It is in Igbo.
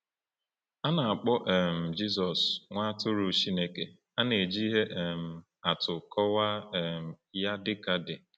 A na-akpọ um Jizọs “Nwa Atụrụ Chineke,” a na-eji ihe um atụ kọwaa um ya dịka di.